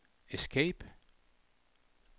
escape